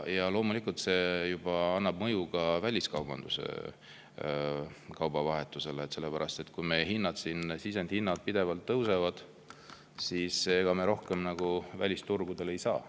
Ja loomulikult see juba mõju ka väliskaubandusele, kaubavahetusele, sellepärast et kui meil siin sisendhinnad pidevalt tõusevad, siis ega me rohkem välisturgudele ei saa.